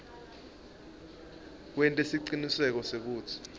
wente siciniseko sekutsi